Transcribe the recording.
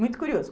Muito curioso.